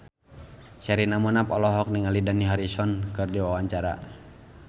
Sherina Munaf olohok ningali Dani Harrison keur diwawancara